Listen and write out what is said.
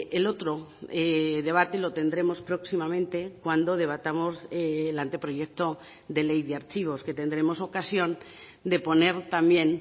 el otro debate lo tendremos próximamente cuando debatamos el anteproyecto de ley de archivos que tendremos ocasión de poner también